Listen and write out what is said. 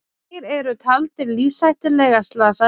Tveir eru taldir lífshættulega slasaðir